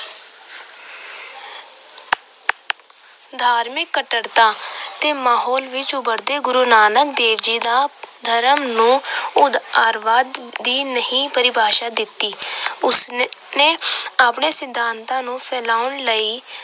ਧਾਰਮਿਕ ਕੱਟੜਤਾ ਦੇ ਮਾਹੌਲ ਵਿੱਚ ਉਭਰਦੇ ਗੁਰੂ ਨਾਨਕ ਦੇਵ ਜੀ ਦਾ ਧਰਮ ਨੂੰ ਉਦਾਰਵਾਦ ਦੀ ਨਵੀਂ ਪਰਿਭਾਸ਼ਾ ਦਿੱਤੀ। ਉਸ ਨੇ ਆਪਣੇ ਸਿਧਾਤਾਂ ਨੂੰ ਫੈਲਾਉਣ ਲਈ